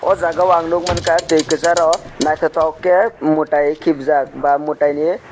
o jaga o ang nogoi mangka tui kesaro naitotok ke mutai kibjak ba mutai ni.